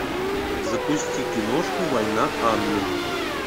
запусти киношку война анны